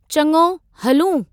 चङो, हलूं !